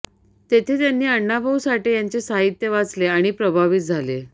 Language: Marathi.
तेथे त्यांनी अण्णाभाऊ साठे यांचे साहित्य वाचले आणि प्रभावित झाले